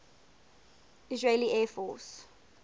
israeli air force